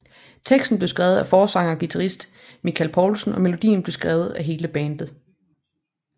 Teksten blev skrevet af forsanger og guitarist Michael Poulsen og melodien blev skrevet af hele bandet